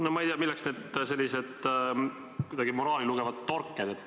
No ma ei tea, milleks need sellised kuidagi moraali lugevad torked.